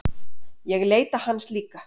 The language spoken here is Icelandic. Ég leita hans líka.